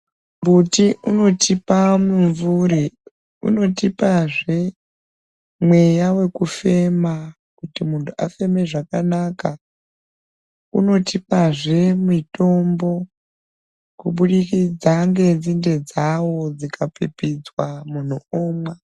Mbuti unotipa mumvuri unotipazve mweya wekufema kuti muntu afeme zvakanaka unotipazve mitombo kubudikidza ngenzinde dzawo dzikapipidzwa muntu omwa .